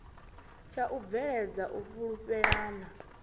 tsha u bveledza u fhulufhelana